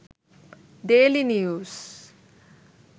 daily news